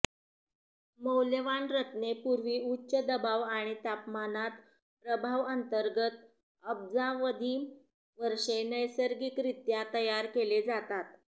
मौल्यवान रत्ने पूर्वी उच्च दबाव आणि तापमानात प्रभाव अंतर्गत अब्जावधी वर्षे नैसर्गिकरित्या तयार केले जातात